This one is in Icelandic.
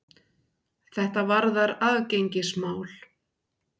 Þetta varðar aðgengismál.